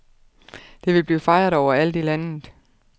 Det vil blive fejret overalt i landet.